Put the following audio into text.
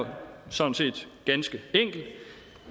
sådan set ganske enkelt at